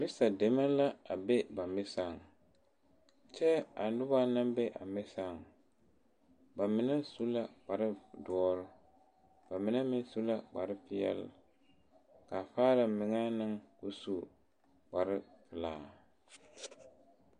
mesa deme la a be ba mesa poɔ, kyɛ a noba. naŋ be a Mesa ba mine su la kpare doɔre, ba mine meŋ su la kpare pɛɛle, kaa meŋɛ meŋ su kpare pelaa